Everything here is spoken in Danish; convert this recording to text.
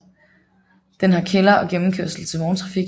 Den har kælder og gennemkørsel til vogntrafik